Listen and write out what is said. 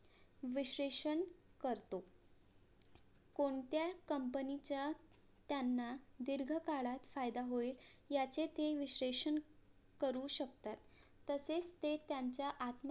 विशेषण करतो कोणत्या COMPANY च्या त्यांना दीर्घ काळात फायदा होईल याचे ते विशेषण करू शकतात तसेच ते त्यांच्या आत्म